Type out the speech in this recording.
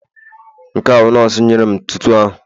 Nke a bụ nọọsụ nyere m ntụtụ ahụ